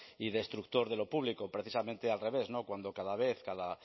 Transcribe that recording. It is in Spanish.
y destructor de lo público precisamente al revés cuando cada vez cada